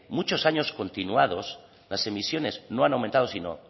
muchos años continuados las emisiones no han descendido sino